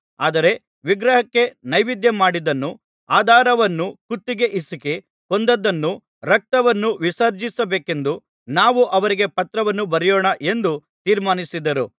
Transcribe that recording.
ಆದರೆ ವಿಗ್ರಹಕ್ಕೆ ನೈವೇದ್ಯಮಾಡಿದ್ದನ್ನೂ ಹಾದರವನ್ನೂ ಕುತ್ತಿಗೆ ಹಿಸುಕಿ ಕೊಂದದ್ದನ್ನೂ ರಕ್ತವನ್ನೂ ವಿರ್ಜಿಸಬೇಕೆಂದು ನಾವು ಅವರಿಗೆ ಪತ್ರವನ್ನು ಬರೆಯೋಣ ಎಂದು ತೀರ್ಮಾನಿಸಿದರು